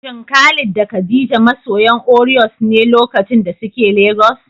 Shin Khalid da Khadija masoyan Oreos ne lokacin da suke Legas?